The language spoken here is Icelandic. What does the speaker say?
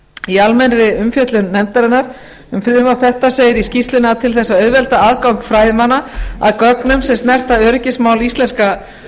í almennri umfjöllun nefndarinnar um frumvarp þetta segir í skýrslunni að til þess að auðvelda aðgang fræðimanna að gögnum sem snerta öryggismál íslenska